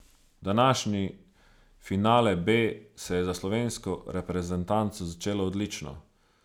Današnji finale B se je za slovensko reprezentanco začel odlično.